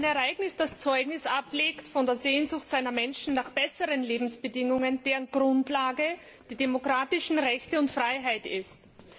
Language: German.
Ein Ereignis, das Zeugnis ablegt von der Sehnsucht seiner Menschen nach besseren Lebensbedingungen, deren Grundlage die demokratischen Rechte und die Freiheit sind.